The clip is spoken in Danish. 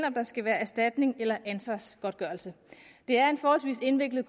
om der skal være erstatning eller ansvarsgodtgørelse det er en forholdsvis indviklet